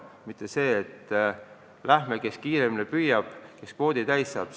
Mitte nii, et vaatame, kes kiiremini püüab, enne kui kvoot täis saab.